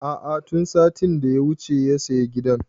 A'a tun satin da ya wuce ya saya gidan